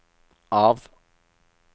av